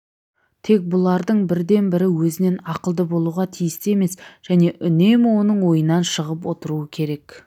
тек бұлардың бірде-бірі өзінен ақылды болуға тиісті емес және үнемі оның ойынан шығып отыруы керек